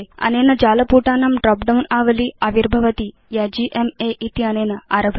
अनेन जालपुटानां drop down आवली आविर्भवति या जीएमए इत्यनेन आरभते